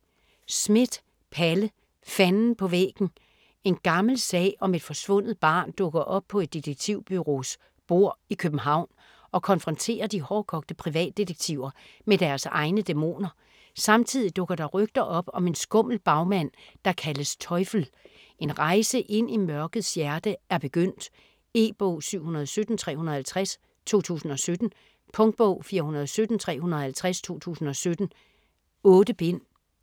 Schmidt, Palle: Fanden på væggen En gammel sag om et forsvundet barn dukker op på et detektivbureaus bord i København, og konfronterer de hårdkogte privatdetektiver med deres egne dæmoner. Samtidig dukker der rygter op om en skummel bagmand der kaldes "Teufel". En rejse ind i mørkets hjerte er begyndt. E-bog 717350 2017. Punktbog 417350 2017. 8 bind.